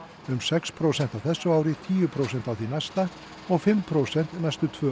um sex prósent á þessu ári tíu prósent á því næsta og fimm prósent næstu tvö